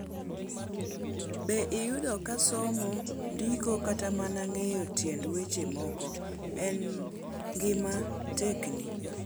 Be iyudo ka somo, ndiko, kata mana ng'eyo tiend weche moko e ngima tekni?